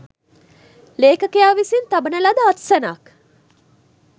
ලේඛකයා විසින් තබන ලද අත්සනක්